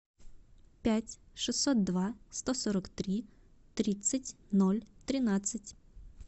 пять шестьсот два сто сорок три тридцать ноль тринадцать